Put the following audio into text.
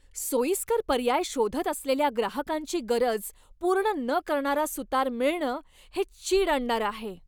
सोयीस्कर पर्याय शोधत असलेल्या ग्राहकांची गरज पूर्ण न करणारा सुतार मिळणं हे चीड आणणारं आहे.